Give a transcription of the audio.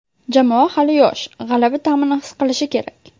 Jamoa hali yosh, g‘alaba ta’mini his qilishi kerak.